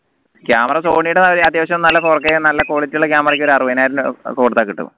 camera സോണിടെ അത്യാവശ്യം നല്ല four k നല്ല quality ഉള്ള camera ക്ക് ഒരു അറുപതിനായിരം രൂപ കൊടുത്ത കിട്ടും